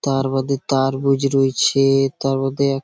তার বাদে তারবুঝ রয়েছে-এ তার মধ্যে এক--